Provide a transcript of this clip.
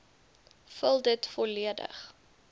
vul dit volledig